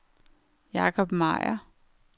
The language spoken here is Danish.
Jakob Meier